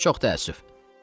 Çox təəssüf.